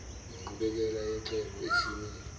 nenqubekela yecebo isimi